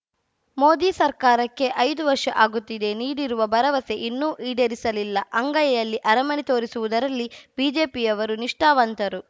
ಮೋದಿ ಸರಕಾರಕ್ಕೆ ಐದು ವರ್ಷ ಆಗುತ್ತಿದೆ ನೀಡಿರುವ ಭರವಸೆ ಇನ್ನೂ ಈಡೇರಿಸಲಿಲ್ಲ ಅಂಗೈಯಲ್ಲಿ ಅರಮನೆ ತೋರಿಸುವುದರಲ್ಲಿ ಬಿಜೆಪಿಯವರು ನಿಷ್ಠಾವಂತರು